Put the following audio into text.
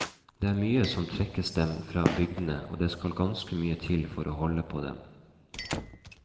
Det er mye som trekker dem vekk fra bygdene, og det skal ganske mye til for å holde på dem.